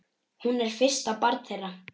Hún er fyrsta barn þeirra.